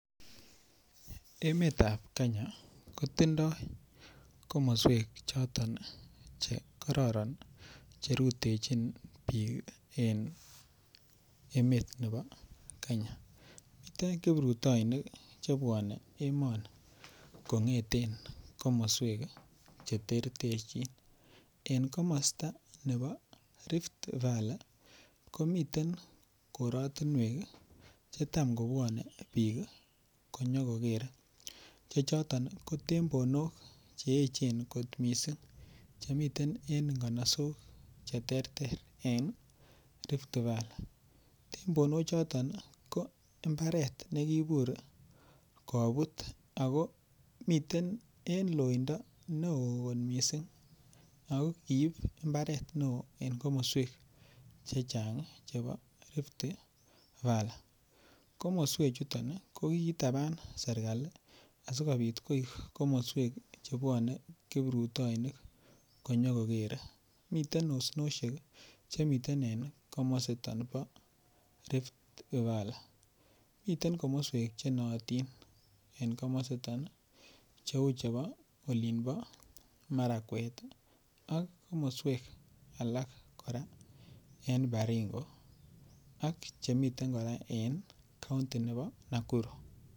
Emetab kenya kotindoi komoswek choton chekororon cherutechin biik en emet nebo kenya miten kiprutoinik chebwonen emoni kong'eten komoswek cheterterchin en komosta nebo Rift Valley komiten korotinwek chetam kobwone biik konyokokere che chon ko tembonok che echen kot missing chemiten en nganasok cheterter en Rift Valley, tembono choton ko mbaret nekibur kobut ako miten en loindoo ne oo kot missing ako kiib mbaret ne oo en komoswek chechang chebo Rift Valley komoswechuton ko kiitaban serikali asikobit koik komoswek chebwone kiprutoinik konyokokerer miten osnoshek chemiten en komositon bo Rift Valley miten komoswek chenootin en komositon cheu chebo olimpo Marakwet ak komoswek alak kora en Baringo ak chemiten kora en county nebo Nakuru.